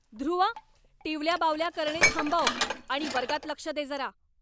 ध्रुव, टिवल्या बावल्या करणे थांबव आणि वर्गात लक्ष दे जरा!